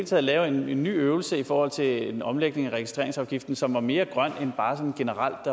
til at lave en ny øvelse i forhold til en omlægning af registreringsafgiften som var mere grøn end bare sådan generelt